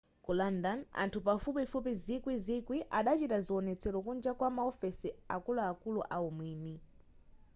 ku london anthu pafupifupi zikwi ziwiri adachita zionetsero kunja kwa maofesi a akuluakulu a umwini